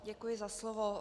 Děkuji za slovo.